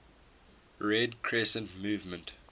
red crescent movement